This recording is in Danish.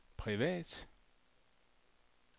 privat